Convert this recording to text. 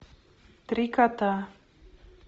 три кота